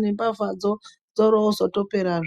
nembavha dzoro dzopera.